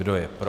Kdo je pro?